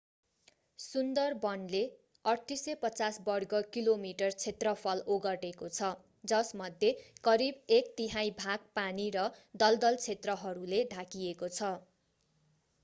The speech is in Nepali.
सुन्दरवनले 3,850 वर्ग किलोमिटर क्षेत्रफल ओगटेको छ जसमध्ये करिब एक तिहाइ भाग पानी र दलदल क्षेत्रहरूले ढाकिएको छ